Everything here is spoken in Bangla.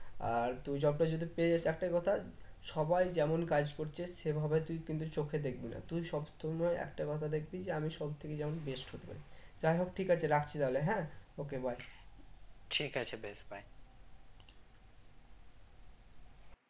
আর তুই job টা যদি পেয়ে যাস একটাই কথা সবাই যেমন কাজ করছে সেভাবে তুই কিন্তু চোখে দেখবি না তুই সবসময় একটা কথা দেখবি যে আমি সব দিকে যেন best হতে পারি যাইহোক ঠিক আছে রাখছি তাহলে হ্যাঁ okay bye ঠিক আছে বেশ bye